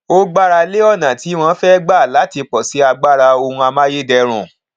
ó gbára lé ọnà tí wọn fẹ gbà láti pọsi agbára ohun amáyédẹrùn